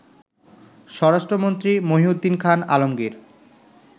স্বরাষ্ট্রমন্ত্রী মহীউদ্দীন খান আলমগীর